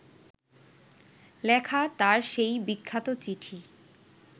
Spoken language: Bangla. লেখা তাঁর সেই বিখ্যাত চিঠি